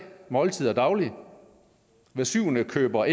måltider dagligt at hver syvende ikke køber